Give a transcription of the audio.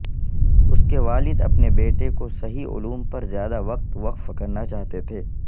اس کے والد اپنے بیٹے کو صحیح علوم پر زیادہ وقت وقف کرنا چاہتے تھے